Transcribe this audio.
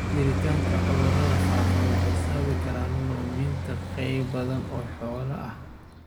Jiritaanka cudurrada faafa waxay sababi kartaa luminta qayb badan oo xoolaha ah.